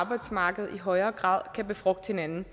og arbejdsmarked i højere grad kan befrugte hinanden